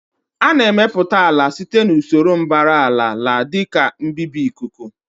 A na-emepụta ala site na usoro mbara àlà la dị ka mbibi ikuku